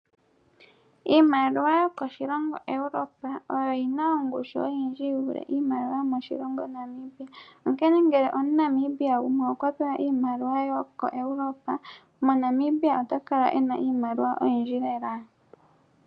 Iimaliwa yokoshilongo Europa oyo yina ongushu oyindji yi vule iimaliwa yomoshilongo Namibia. Onkene ngele omuNamibia gumwe okwa pewa iimaliwa yokoEuropa moNamibia ota kala ena iimaliwa oyindji lela.